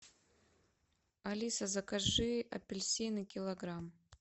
алиса закажи апельсины килограмм